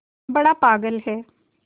बड़ा पागल है